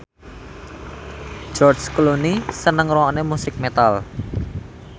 George Clooney seneng ngrungokne musik metal